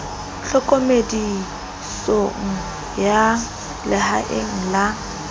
tlhokomeloi ya boalosi lehaeng la